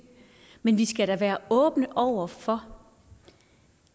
men vi skal da være åbne over for